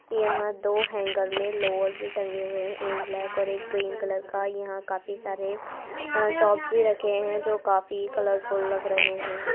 यहाँ दो हैंगर में लोअर भी टंगे हुए है एक ब्लैक एक ग्रीन कलर का यहाँ काफी सारे टॉप्स भी रखे है जो काफी कलरफुल लग रहे है।